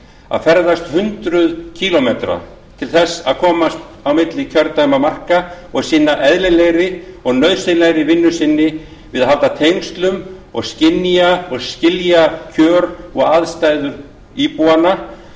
að ferðast hundruð kílómetra til þess að komast milli kjördæmamarka og sinna eðlilegri og nauðsynlegri vinnu sinni við að halda tengslum og skynja og skilja kjör og aðstæður íbúanna